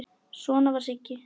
Svona var Siggi.